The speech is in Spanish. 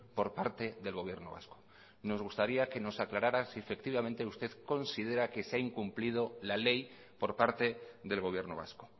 por parte del gobierno vasco nos gustaría que nos aclarara si efectivamente usted considera que se ha incumplido la ley por parte del gobierno vasco